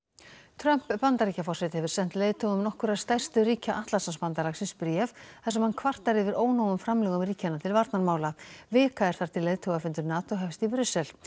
Trump Bandaríkjaforseti hefur sent leiðtogum nokkurra stærstu ríkja Atlantshafsbandalagsins bréf þar sem hann kvartar yfir ónógum framlögum ríkjanna til varnarmála vika er þar til leiðtogafundur NATO hefst í Brussel